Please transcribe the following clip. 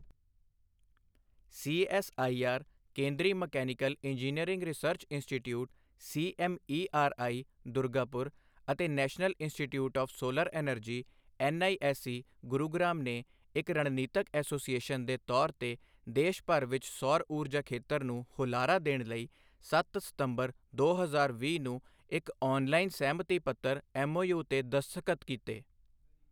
CSIR ਕੇਂਦਰੀ mechanical engineering research institute CMERI, Durgapur ਅਤੇ national institute of solar energy NISE, Gurugram ਨੇ ਇੱਕ ਰਣਨੀਤਕ ਐਸੋਸੀਏਸ਼ਨ ਦੇ ਤੌਰ ਤੇ ਦੇਸ਼ ਭਰ ਵਿੱਚ ਸੌਰ ਊਰਜਾ ਖੇਤਰ ਨੂੰ ਹੁਲਾਰਾ ਦੇਣ ਲਈ ਸੱਤ ਸਤੰਬਰ, ਦੋ ਹਜ਼ਾਰ ਵੀਹ ਨੂੰ ਇੱਕ ਔਨਲਾਈਨਸਹਿਮਤੀ ਪੱਤਰ ਐੱਮਓਯੂ ਤੇ ਦਸਤਖਤ ਕੀਤੇ।